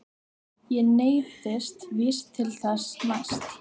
Ég neyðist víst til þess næst.